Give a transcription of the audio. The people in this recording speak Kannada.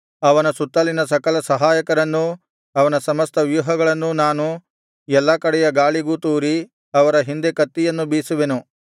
ಅವನ ಸುತ್ತಲಿನ ಸಕಲ ಸಹಾಯಕರನ್ನೂ ಅವನ ಸಮಸ್ತ ವ್ಯೂಹಗಳವರನ್ನೂ ನಾನು ಎಲ್ಲಾ ಕಡೆಯ ಗಾಳಿಗೂ ತೂರಿ ಅವರ ಹಿಂದೆ ಕತ್ತಿಯನ್ನು ಬೀಸುವೆನು